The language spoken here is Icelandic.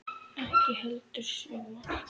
Ekki heldur sumar.